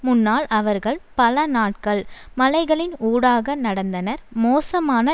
முன்னால் அவர்கள் பல நாட்கள் மலைகளின் ஊடாக நடந்தனர் மோசமான